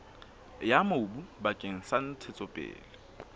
ya mobu bakeng sa ntshetsopele